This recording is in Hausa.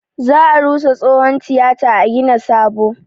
Za a rusa tsohon tiyata a gina sabo